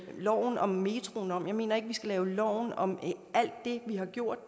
loven om metroen om jeg mener ikke at vi skal lave loven om alt det vi har gjort